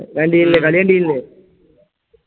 കണ്ടില്ലേ കളി കണ്ടീനല്ലെ